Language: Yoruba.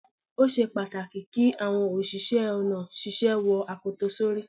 Ó ṣe pàtàkì kí àwọn òṣìṣẹ́ ọ̀nà ṣíṣe wo akoto sórí.